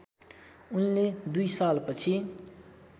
उनले दुई सालपछि